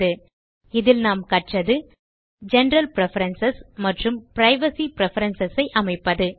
இந்த டியூட்டோரியல் லில் நாம் கற்றது எப்படி ஜெனரல் பிரெஃபரன்ஸ் மற்றும் பிரைவசி பிரெஃபரன்ஸ் ஐ அமைப்பது